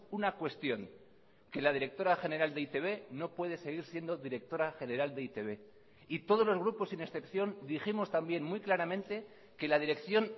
una cuestión que la directora general de e i te be no puede seguir siendo directora general de e i te be y todos los grupos sin excepción dijimos también muy claramente que la dirección